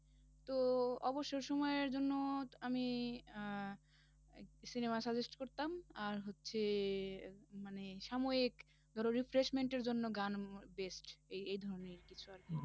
তো অবসর সময়ের জন্য আমি আহ cinema suggest করতাম, আর হচ্ছে আহ মানে সাময়িক ধরো refreshment এর জন্য গান উম best এই এই ধরণের কিছু আরকি